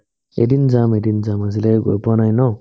এদিন যাম এদিন যাম আজিলৈকে গৈ পোৱা নাই ন